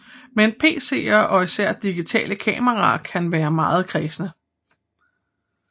Men PCer og især digitale kameraer kan være meget kræsne